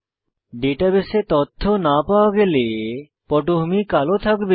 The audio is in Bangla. ডাটাবেসে তথ্য না পাওয়া গেলেপটভূমি কালো থাকবে